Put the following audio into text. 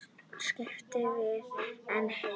Skapti var því einn heima.